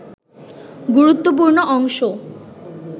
গুরুত্বপূর্ণ অংশ